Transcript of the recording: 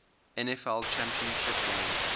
nfl championship game